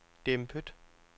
dæmpet